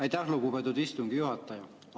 Aitäh, lugupeetud istungi juhataja!